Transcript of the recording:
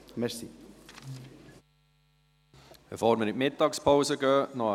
Eine Mitteilung, bevor wir in die Mittagspause gehen: